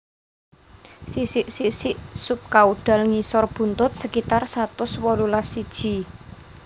Sisik sisik subkaudal ngisor buntut sekitar satus wolulas iji